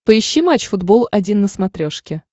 поищи матч футбол один на смотрешке